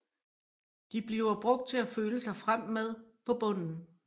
De bliver brugt til at føle sig frem med på bunden